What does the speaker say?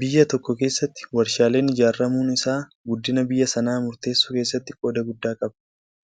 Biyya tokko keessatti warshaaleen ijaaramuun isaa guddina biyya sanaa murteessuu keessatti qooda guddaa qaba.